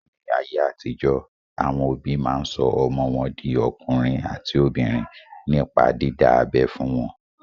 Ní ayé àtijọ́, àwọn òbí máa sọ ọmọ wọn di ọkùnrin àti obìnrin nípa dídá abẹ́ fún wọn.